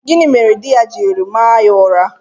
Gịnị mere di ya jiri maa ya ụra?